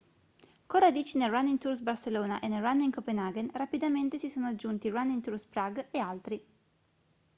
con radici nel running tours barcelona e nel running copenhagen rapidamente si sono aggiunti running tours prague e altri